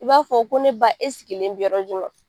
I b'a fɔ ko ne ba e sigilen bi yɔrɔ ju ?